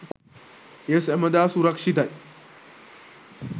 එය සැමදා සුරක්ෂිතයි.